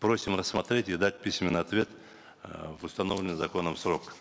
просим рассмотреть и дать письменный ответ э в установленный законом срок